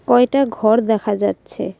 কয়টা ঘর দেখা যাচ্ছে।